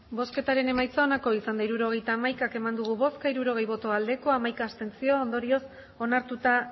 hirurogeita hamaika eman dugu bozka hirurogei bai hamaika abstentzio ondorioz onartuta